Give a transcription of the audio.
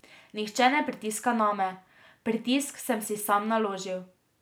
Nihče ne pritiska name, pritisk sem si sam naložil.